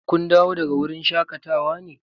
Kun dawo daga wurin shaƙatawa ne?